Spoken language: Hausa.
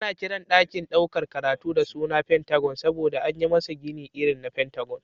Ana Kiran dakin ɗaukar karatu da suna pentagon saboda anyi masa Gini irin na pentagon